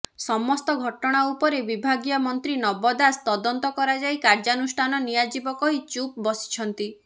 ସମସ୍ତ ଘଟଣା ଉପରେ ବିଭାଗୀୟ ମନ୍ତ୍ରୀ ନବ ଦାଶ ତଦନ୍ତ କରାଯାଇ କାର୍ଯ୍ୟାନୁଷ୍ଠାନ ନିଆଯିବ କହି ଚୁପ୍ ବସିଛନ୍ତି